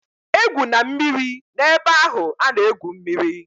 E gwụna mmiri na-ebe ahụ a na-egwu mmiri!